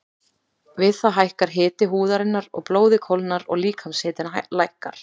Við það hækkar hiti húðarinnar og blóðið kólnar og líkamshitinn lækkar.